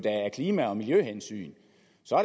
af klima og miljøhensyn